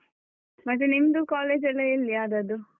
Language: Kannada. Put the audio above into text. ಮತ್ತೆ ನಿಮ್ದು college ಎಲ್ಲ ಎಲ್ಲಿ ಆದದ್ದು?